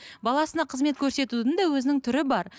баласына қызмет көрсетудің де өзінің түрі бар